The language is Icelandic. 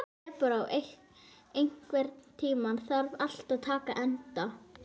Debóra, einhvern tímann þarf allt að taka enda.